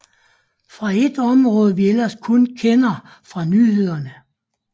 Fra et område vi ellers kun kender fra nyhederne